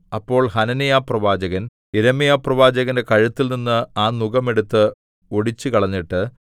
അപ്പോൾ ഹനന്യാപ്രവാചകൻ യിരെമ്യാപ്രവാചകന്റെ കഴുത്തിൽനിന്ന് ആ നുകം എടുത്ത് ഒടിച്ചുകളഞ്ഞിട്ട്